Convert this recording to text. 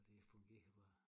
Og det fungerer bare